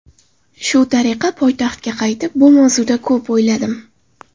Shu tariqa poytaxtga qaytib, bu mavzuda ko‘p o‘yladim.